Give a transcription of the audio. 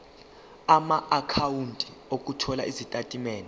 amaakhawunti othola izitatimende